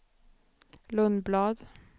Lundblad